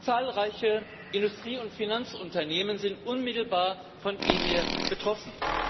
Zahlreiche Industrie und Finanzunternehmen sind unmittelbar von EMIR betroffen.